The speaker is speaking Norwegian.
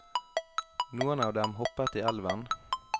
Noen av dem hoppet i elven.